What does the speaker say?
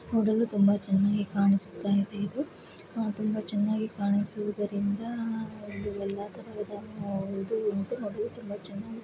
ನೋಡಲು ತುಂಬಾ ಚೆನ್ನಾಗಿ ಕಾಣಿಸುತ್ತಾ ಇದೆ. ಆ ತುಂಬಾ ಚೆನ್ನಾಗಿ ಕಾಣಿಸುವುದರಿಂದ